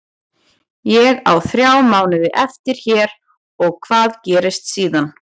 Ég á þrjá mánuði eftir hér og hvað gerist síðan?